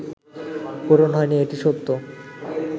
পূরণ হয়নি এটি সত্য